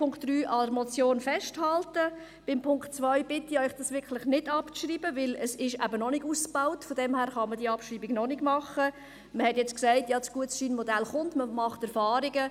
Wer den Punkt 2 als Motion annehmen will, stimmt Ja, wer dies ablehnt, stimmt Nein.